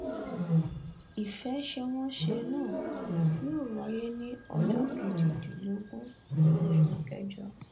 ìfẹsẹwọnsẹ náà yóò wáyé ní ọjọ kejìdínlógún oṣù kẹjọ